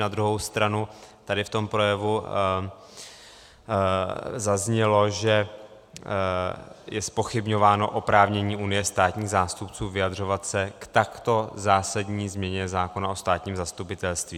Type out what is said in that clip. Na druhou stranu tady v tom projevu zaznělo, že je zpochybňováno oprávnění Unie státních zástupců vyjadřovat se k takto zásadní změně zákona o státním zastupitelství.